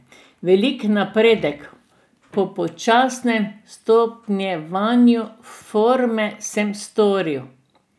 Velik napredek po počasnem stopnjevanju forme sem storil.